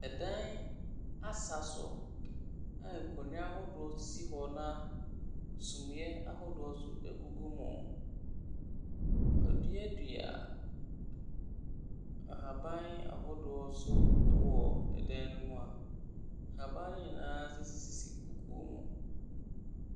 Dan asaso a nkonnwa ahodoɔ sisi hɔ na suneɛ ahodoɔ nso gugu mu. Wɔaduadua nhaban ahodoɔ nso wɔ dan ne mu a haban ne nyinaa sisisisi kukuo mu.